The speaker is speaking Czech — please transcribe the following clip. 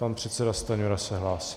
Pan předseda Stanjura se hlásí.